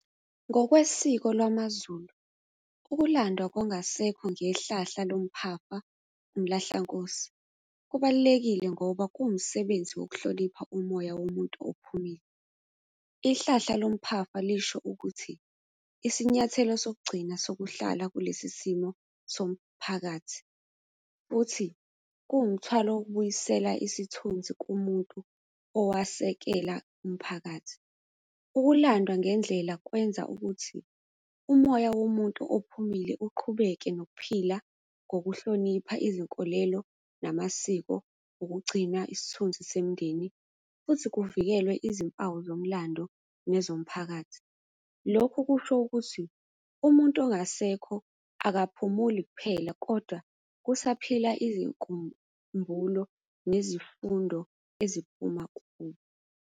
Ngokwesiko lwamaZulu, ukulandwa kongasekho ngehlahla lomphafa, umlahlankosi, kubalulekile ngoba kuwumsebenzi wokuhlonipha umoya womuntu ophumile. Ihlahla lomphafa lisho ukuthi, isinyathelo sokugcina sokuhlala kulesi simo somphakathi futhi kuwumthwalo ukubuyisela isithunzi kumuntu owayesekele umphakathi. Ukulandwa ngendlela kwenza ukuthi, umoya womuntu ophumile uqhubeke nokuphila ngokuhlonipha izinkolelo namasiko, ukugcina isithunzi semindeni, futhi kuvikelwe izimpawu zomlando nezomphakathi. Lokhu kusho ukuthi, umuntu ongasekho akaphumuli kuphela kodwa kusaphila izinkumbulo nezifundo eziphuma kubo.